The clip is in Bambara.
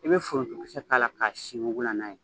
I bɛ forontokisɛ k'a la k'a sin wugula n'a ye.